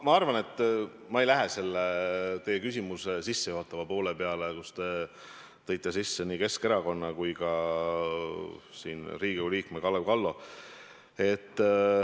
Ma arvan, et ma ei lähe selle teie küsimuse sissejuhatava poole juurde, kus te tõite sisse nii Keskerakonna kui ka Riigikogu liikme Kalev Kallo.